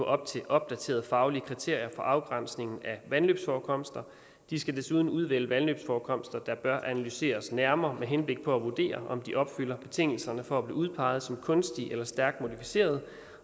op til opdaterede faglige kriterier for afgrænsningen af vandløbsforekomster de skal desuden udvælge vandløbsforekomster der bør analyseres nærmere med henblik på at vurdere om de opfylder betingelserne for at blive udpeget som kunstige eller stærkt modificerede